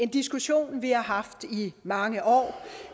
diskussion vi har haft i mange år